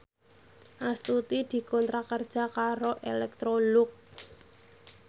Astuti dikontrak kerja karo Electrolux